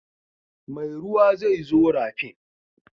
Mai ruwa zai zo rafin.